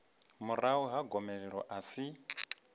murahu ha gomelelo a si